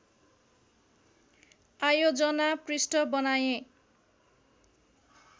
आयोजना पृष्ठ बनाएँ